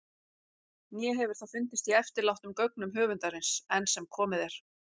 Né hefur það fundist í eftirlátnum gögnum höfundarins- enn sem komið er.